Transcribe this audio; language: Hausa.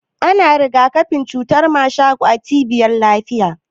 Ana rigakafin cutar mashako a cibiyar lafiya.